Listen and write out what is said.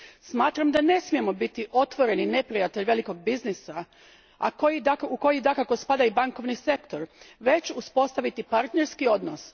Smatram da ne smijemo biti otvoreni neprijatelj velikog biznisa u koji dakako spada i bankovni sektor, već uspostaviti partnerski odnos.